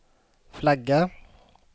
flagga